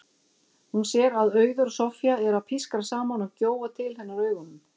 Hún sér að Auður og Soffía eru að pískra saman og gjóa til hennar augunum.